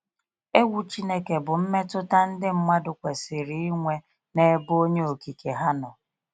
Egwu Chineke bụ mmetụta ndị mmadụ kwesịrị inwe n’ebe onye okike ha nọ.